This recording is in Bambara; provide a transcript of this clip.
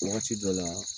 Wagati dɔ la